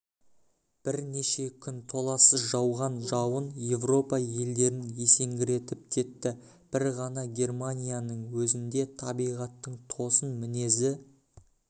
бірнеше күн толассыз жауған жауын еуропа елдерін есеңгіретіп кетті бір ғана германияның өзінде табиғаттың тосын мінезі